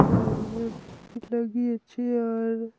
side में भी लगी अच्छी और---